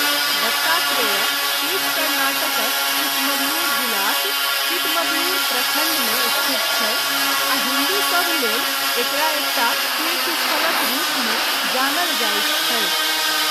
दत्तात्रेय पीठ कर्नाटकक चिकमगलूर जिलाक चिकमगलूर प्रखण्ड मे स्थित छै आ हिन्दूसभ लेल एकरा एकटा तीर्थस्थलक रूपमे जानल जाइत छै।